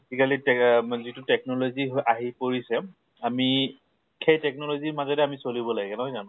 আজি কালি তেহ যিটো technology আহি পৰিছে আমি সেই technology ৰ মাজতে আমি চলিব লাগে নহয় জানো?